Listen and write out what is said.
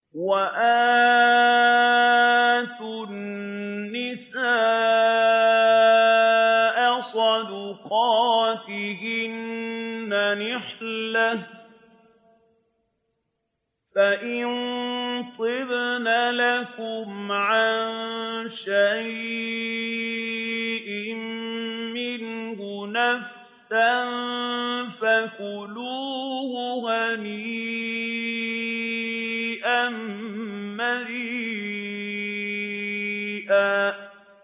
وَآتُوا النِّسَاءَ صَدُقَاتِهِنَّ نِحْلَةً ۚ فَإِن طِبْنَ لَكُمْ عَن شَيْءٍ مِّنْهُ نَفْسًا فَكُلُوهُ هَنِيئًا مَّرِيئًا